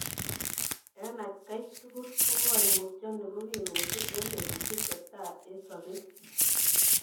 En atkai tukul, koimutioniton kokimitu en betusiek chetai en sobet.